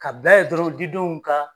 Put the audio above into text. Ka bila ye dɔrɔn didenw ka